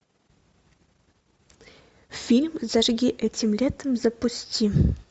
фильм зажги этим летом запусти